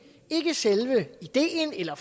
er ikke selve ideen eller